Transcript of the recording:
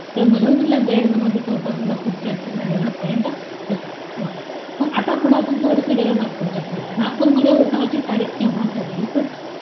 तर मुधोळ मधला बेरड जमातीचा उठाव सुद्धा खूप चर्चेत राहिलेला point होता. Okay मग आता आपण पुढे थोडंसं गेलो नागपूरच्या side ला. नागपूरमध्ये उठावाची तारीख केव्हा ठरली होती?